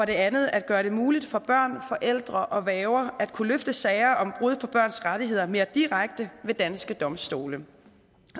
det andet at gøre det muligt for børn forældre og værger at kunne rejse sager om brud på børns rettigheder mere direkte ved danske domstole